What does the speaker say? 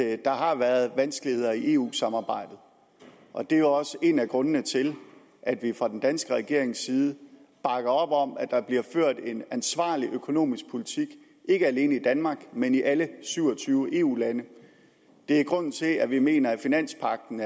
at der har været vanskeligheder i eu samarbejdet og det er også en af grundene til at vi fra den danske regerings side bakker op om at der bliver ført en ansvarlig økonomisk politik ikke alene i danmark men i alle syv og tyve eu lande det er grunden til at vi mener at finanspagten